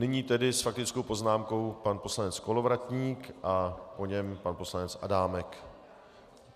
Nyní tedy s faktickou poznámkou pan poslanec Kolovratník a po něm pan poslanec Adámek.